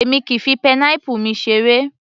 Èmi kìí fi pineapple mi seré